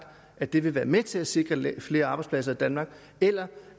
at det vil være med til at sikre flere arbejdspladser i danmark eller